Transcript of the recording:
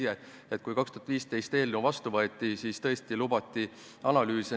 Kui eelnõu 2015 vastu võeti, siis tõesti lubati analüüse.